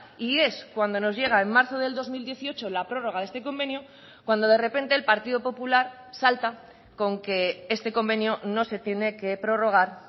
y es cuando nos llega en marzo del dos mil dieciocho la prórroga de este convenio cuando de repente el partido popular salta con que este convenio no se tiene que prorrogar